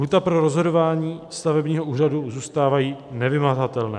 "Lhůty pro rozhodování stavebního úřadu zůstávají nevymahatelné.